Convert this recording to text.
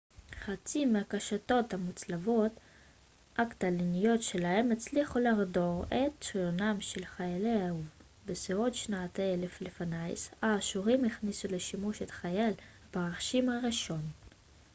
חצים מהקשתות המוצלבות הקטלניות שלהם הצליחו לחדור את שריונם של חיילי האויב בסביבות שנת 1000 לפנה ס האשורים הכניסו לשימוש את חיל הפרשים הראשון